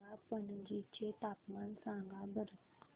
मला पणजी चे तापमान सांगा बरं